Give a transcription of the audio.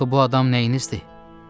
Axı bu adam nəyinizdir?